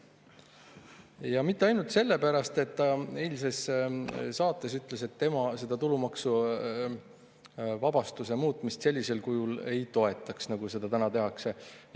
Ja mitte ainult sellepärast, et ta eilses saates ütles, et tema seda tulumaksuvabastuse muutmist sellisel kujul, nagu seda täna tehakse, ei toetaks.